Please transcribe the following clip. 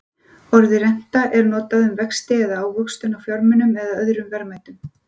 orðið renta er notað um vexti eða ávöxtun á fjármunum eða öðrum verðmætum